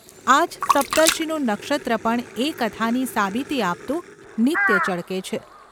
આજ સપ્તર્ષિનું નક્ષત્ર પણ એ કથાની સાબિતી આપતું નિત્ય ચળકે છે.